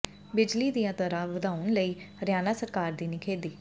ਬਿਜਲੀ ਦੀਆਂ ਦਰਾਂ ਵਧਾਉਣ ਲਈ ਹਰਿਆਣਾ ਸਰਕਾਰ ਦੀ ਨਿਖੇਧੀ